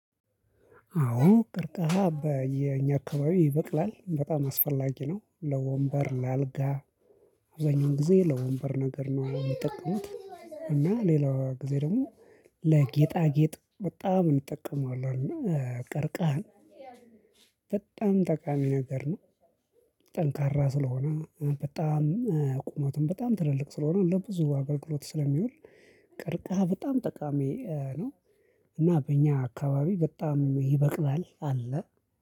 አዎ ቅርቃሃ በኛ አካባቢ ይበቅላል በጣም አስፈላጊ ነው ለወንበር ለአልጋ። አብዛኛውን ጊዜ ለወንበር ነገር ነው የሚጠቅሙት እና ሌላው ጊዜ ደግሞ። በጣም እንጠቀመዋለን እና ቀርቃህ በጣም ጠቃሚ ነገር ነው። ጠንካራ ስለሆነ በጣም ቁመቱን በጣም ትልልቅ ስለሆነ እንደው ብዙ አገልግሎት ስለሚውል ቀርቃሃ በጣም ጠቃሚ ነው። እና በእኛ አካባቢ በጣም አለ።